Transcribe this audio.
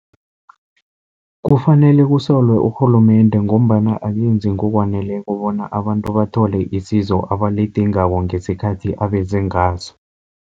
Kufanele kusolwe urhulumende, ngombana akenzi ngokwaneleko bona abantu bathole isizo abalidingako, ngesikhathi abeze ngaso.